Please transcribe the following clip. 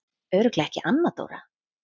Örugglega ekki Anna Dóra?